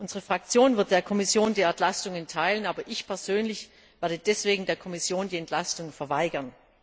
Unsere Fraktion wird der Kommission die Entlastung erteilen, aber ich persönlich werde der Kommission die Entlastung verweigern.